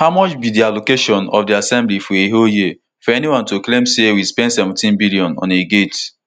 how much be di allocation of di assembly for a whole year for anyone to claim say we spend seventeen billion on a gate